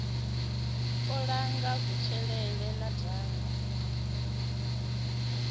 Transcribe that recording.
u langa kutshilele na ndaka